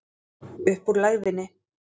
Upp úr lægðinni